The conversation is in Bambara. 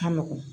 Ka nɔgɔn